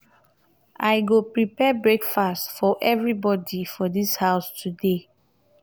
i go prepare breakfast for everybodi for dis house today.